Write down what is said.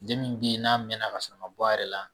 Den min be yen n'a mɛna k'a sɔrɔ a ma bɔ a yɛrɛ la